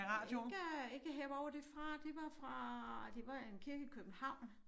Ikke ikke her hvor var det fra det var fra det var en kirke i København